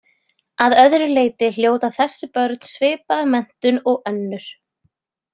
Að öðru leyti hljóta þessi börn svipaða menntun og önnur.